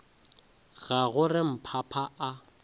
ga go re mphapa a